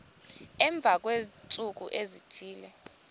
emva kweentsuku ezithile